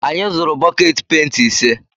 Anyị zụrụ bọket penti ise.